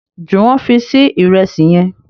Juwon fí Sí Ìrẹsí yén